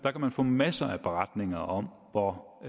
få masser af beretninger om hvor